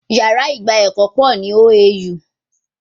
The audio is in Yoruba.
Yàrá ìgba ẹ̀kọ́ pọ̀ ní orísìírísìí ní OAU